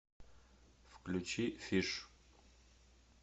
включи фиш